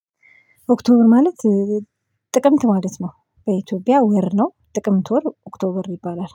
ኦክቶበር ማለት ጥቅምት ማለት ነው በኢትዮጵያ ወር ነው። ጥቅምት ወር ኦክቶበር ይባላል